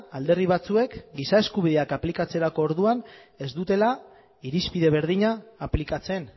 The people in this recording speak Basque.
alderdi batzuek giza eskubideak aplikatzerako orduan ez dutela irizpide berdina aplikatzen